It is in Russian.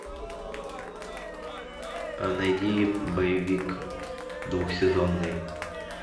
найди боевик двухсезонный